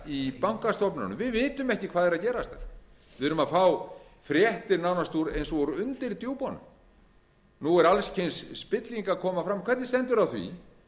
í bankastofnununum við vitum ekki hvað er að gerast við erum að fá fréttir nánast eins og úr undirdjúpunum nú er alls kyns spilling að koma fram hvernig bændur á því